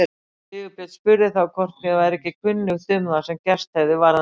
Sigurbjörn spurði þá hvort mér væri ekki kunnugt um það sem gerst hefði varðandi